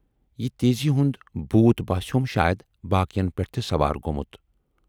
یہِ تیزی ہُند بھوٗت باسٮ۪وم شاید باقین پٮ۪ٹھ تہِ سوار گومُت۔